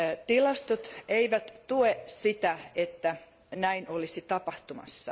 Tilastot eivät tue sitä, että näin olisi tapahtumassa.